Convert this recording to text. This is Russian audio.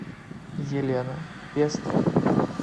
елена пестова